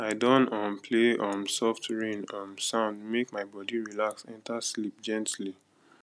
i don um play um soft rain um sound make my body relax enter sleep gently